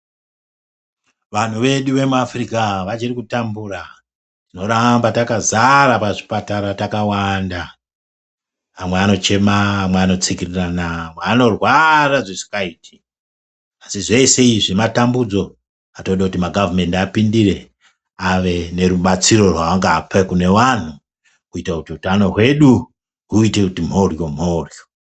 Vanhu vedu vemuAfrika vachiri kutambura tinoramba takazara pachipatara takawanda amwe anochema amwe anotsikirirana amwe anorwara zvisingaiti asi zvese izvi matambudzo atode kuti magavhumendi apindire ave nerubatsiro rwaangape kune vanhu kuite kuti utano wedu uite kuti mhoryo mhoryo.